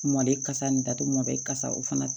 Mɔle kasa nin datugu mɔdɛli kasa o fana